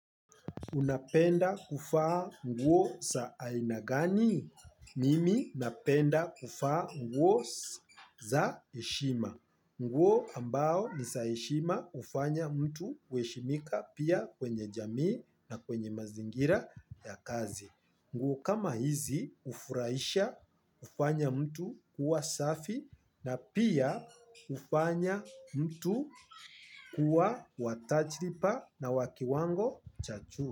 Unapenda kuvaa nguo za aina gani? Mimi napenda kuvaa nguo za heshima. Nguo ambao niza heshima hufanya mtu kuheshimika pia kwenye jamii na kwenye mazingira ya kazi. Nguo kama hizi hufuraisha, hufanya mtu kuwa safi na pia hufanya mtu kuwa wa tajiriba na wa kiwango cha juu.